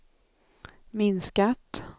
minskat